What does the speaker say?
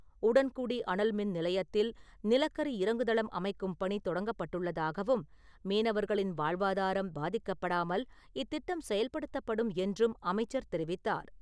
உடன்குடி அனல்மின் நிலையத்தில் நிலக்கரி இறங்குதளம் அமைக்கும் பணி தொடங்கப்பட்டுள்ளதாகவும் மீனவர்களின் வாழ்வாதாரம் பாதிக்கப்படாமல் இத்திட்டம் செயல்படுத்தப்படும் என்றும் அமைச்சர் தெரிவித்தார்.